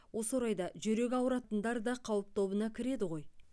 осы орайда жүрегі ауыратындар да қауіп тобына кіреді ғой